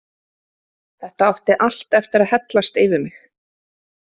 Þetta átti allt eftir að hellast yfir mig.